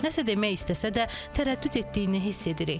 Nəsə demək istəsə də tərəddüd etdiyini hiss edirik.